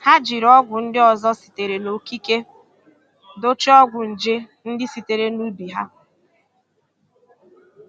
Ha jiri ọgwụ ndị ọzọ sitere n'okike dochie ọgwụ nje ndị sitere n'ubi ha.